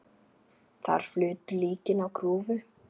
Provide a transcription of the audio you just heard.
Þar flutu líkin á grúfu.